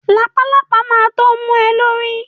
Làpálàpá ma tó mu ẹ lórí